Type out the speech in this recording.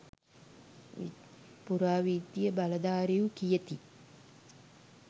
පුරාවිද්‍යා බලධාරීහු කියති.